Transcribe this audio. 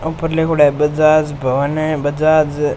ऊपर लिखुङा है बजाज भवन बजाज --